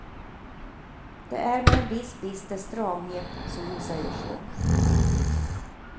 Det är med en viss bister stramhet som hon säger så.